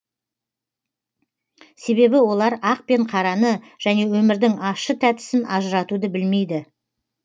себебі олар ақ пен қараны және өмірдің ащы тәттісін ажыратуды білмейді